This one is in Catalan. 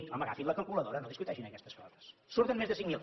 home agafin la calculadora no discuteixin aquestes coses en surten més de cinc mil